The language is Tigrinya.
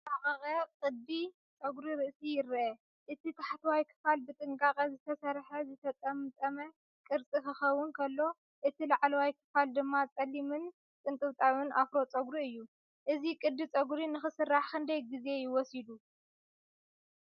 ዝተራቐቐ ቅዲ ጸጉሪ ርእሲ ይርአ። እቲ ታሕተዋይ ክፋል ብጥንቃቐ ዝተሰርሐ ዝተጠምጠመ ቅርጺ ክኸውን ከሎ፡ እቲ ላዕለዋይ ክፋል ድማ ጸሊምን ቅንጥብጣብ ኣፍሮ ጸጉሪ እዩ። እዚ ቅዲ ጸጉሪ ንኽስራሕ ክንደይ ግዜ ወሲዱ?